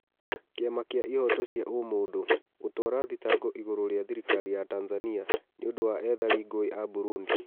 Kĩama gĩa Ihoto cia ũmũndũ: gũtwara thitango igũrũ rĩ a thirikari ya Tanzania nĩ ũndũ wa ethari ngũĩ a Burundi.